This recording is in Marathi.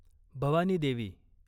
भवानी देवी